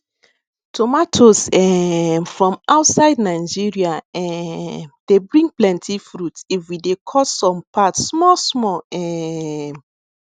tomatoes um from outside nigeria um dey bring plenty fruit if we we dey cut some part small small um